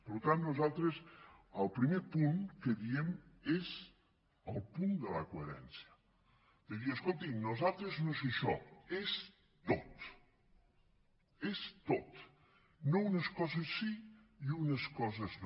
per tant nosaltres el primer punt que diem és el punt de la coherència de dir escoltin per nosaltres no és això és tot és tot no unes coses sí i unes coses no